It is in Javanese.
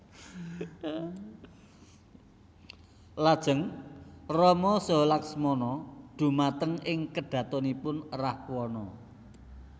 Lajeng Rama saha Laksmana dhumateng ing kedhatonipun Rahwana